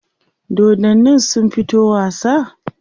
dodannin sun fito wasa?